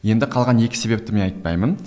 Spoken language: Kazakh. енді қалған екі себепті мен айтпаймын